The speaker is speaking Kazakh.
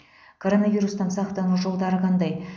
коронавирустан сақтану жолдары қандай